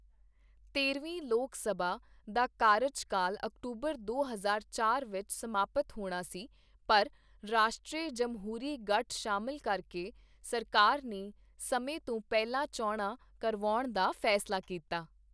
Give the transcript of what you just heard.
ਤੇਰਵੀਂ ਲੋਕ ਸਭਾ ਦਾ ਕਾਰਜਕਾਲ ਅਕਤੂਬਰ ਦੋ ਹਜ਼ਾਰ ਚਾਰ ਵਿੱਚ ਸਮਾਪਤ ਹੋਣਾ ਸੀ, ਪਰ ਰਾਸ਼ਟਰੀ ਜਮਹੂਰੀ ਗੱਠ ਸ਼ਾਮਿਲ ਕਰਕੇ ਸਰਕਾਰ ਨੇ ਸਮੇਂ ਤੋਂ ਪਹਿਲਾਂ ਚੋਣਾਂ ਕਰਾਉਣ ਦਾ ਫੈਸਲਾ ਕੀਤਾ।